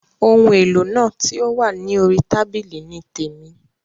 Oun èlò náà ti o wa ni orí tábìlì ni témi.